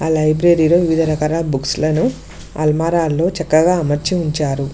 ఆ లైబ్రరీలో వివిధ రకాల బుక్స్లను అల్మారాల్లో చక్కగా అమర్చి ఉంచారు.